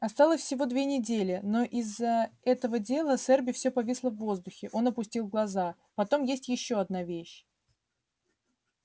осталось всего две недели но из-за этого дела с эрби всё повисло в воздухе он опустил глаза потом есть ещё одна вещь